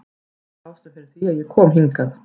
Þetta er ástæðan fyrir því að ég kom hingað.